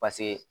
Paseke